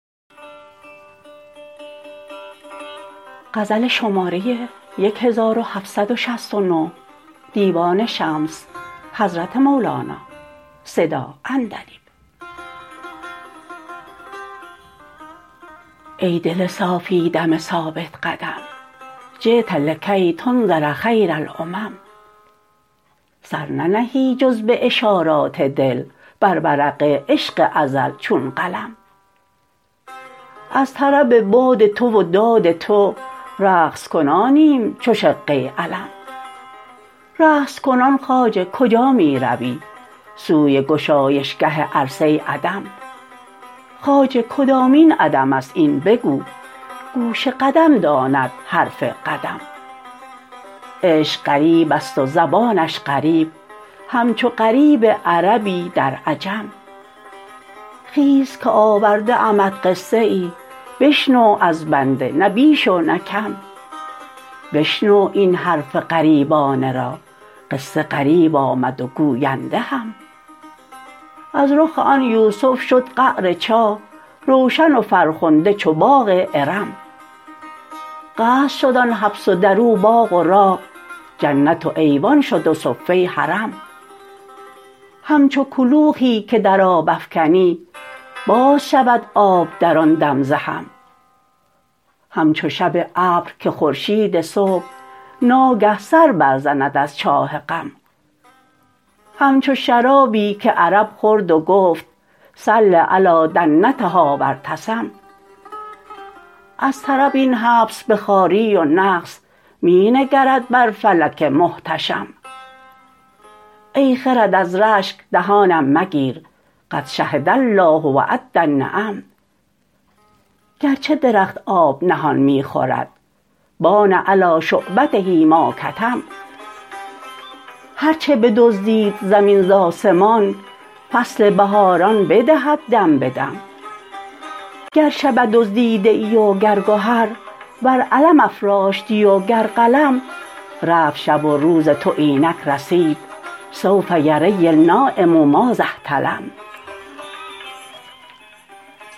ای دل صافی دم ثابت قدم جیت لکی تنذر خیر الامم سر ننهی جز به اشارات دل بر ورق عشق ازل چون قلم از طرب باد تو و داد تو رقص کنانیم چو شقه علم رقص کنان خواجه کجا می روی سوی گشایشگه عرصه عدم خواجه کدامین عدم است این بگو گوش قدم داند حرف قدم عشق غریب است و زبانش غریب همچو غریب عربی در عجم خیز که آورده امت قصه ای بشنو از بنده نه بیش و نه کم بشنو این حرف غریبانه را قصه غریب آمد و گوینده هم از رخ آن یوسف شد قعر چاه روشن و فرخنده چو باغ ارم قصر شد آن حبس و در او باغ و راغ جنت و ایوان شد و صفه حرم همچو کلوخی که در آب افکنی باز شود آب در آن دم ز هم همچو شب ابر که خورشید صبح ناگه سر برزند از چاه غم همچو شرابی که عرب خورد و گفت صل علی دنتها و ارتسم از طرب این حبس به خواری و نقص می نگرد بر فلک محتشم ای خرد از رشک دهانم مگیر قد شهد الله و عد النعم گرچه درخت آب نهان می خورد بان علی شعبته ما کتم هر چه بدزدید زمین ز آسمان فصل بهاران بدهد دم به دم گر شبه دزدیده ای وگر گهر ور علم افراشتی وگر قلم رفت شب و روز تو اینک رسید سوف یری النایم ماذا احتلم